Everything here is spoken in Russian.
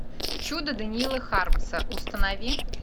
чудо даниила хармса установи